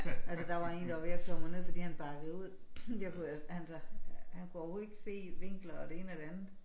Altså der var en der var ved at køre mig ned fordi han bakkede ud. jeg kunne altså han kunne overhovedet ikke se vinkler og det ene og det andet